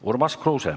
Urmas Kruuse.